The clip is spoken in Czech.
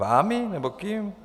Vámi nebo kým?